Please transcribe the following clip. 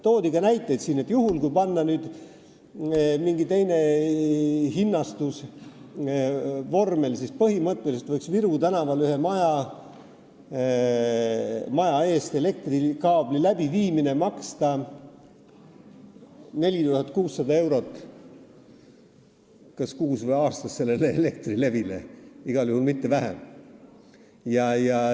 Toodi ka näiteid, et juhul kui panna mingi teine hinnastusvorm, siis põhimõtteliselt võiks Viru tänaval ühe maja eest elektrikaabli läbiviimine maksta Elektrilevile 4600 eurot, kas kuus või aastas, igal juhul mitte vähem.